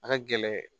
A ka gɛlɛn